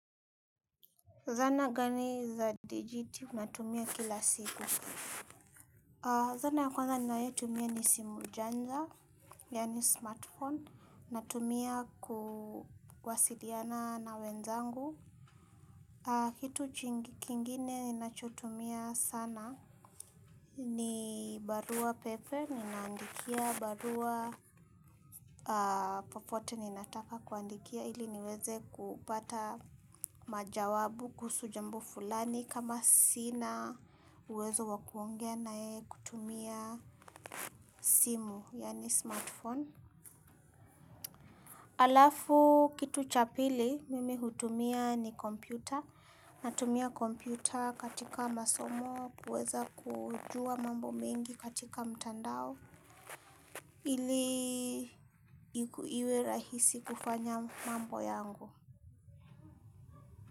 Zana gani za dijiti natumia kila siku. Zana ya kwanza ninayotumia ni simu janja, yani smartphone, natumia kuwasiliana na wenzangu. Kitu kingine ninachotumia sana. Ni barua pepe, ninandikia barua popote ninataka kuandikia ili niweze kupata majawabu kuhusu jambo fulani kama sina uwezo wa kuongea na yeye kutumia simu, yani smartphone. Alafu kitu cha pili, mimi hutumia ni kompyuta. Natumia kompyuta katika masomo, kuweza kujua mambo mingi katika mtandao. Ili iku iwe rahisi kufanya mambo yangu.